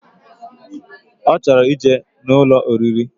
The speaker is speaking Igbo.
Ochoro ije na Ụlọ oriri.